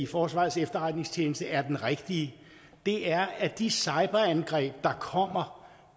forsvarets efterretningstjeneste er den rigtige er at de cyberangreb der kommer